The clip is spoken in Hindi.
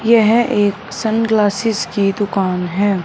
यह एक सनग्लासेस की दुकान है।